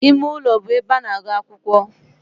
Ime ulo be ebe a na-agu akwukwo.